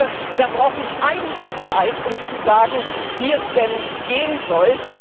Ich glaube, da brauchen einige Zeit, um zu sagen, wie es denn gehen soll.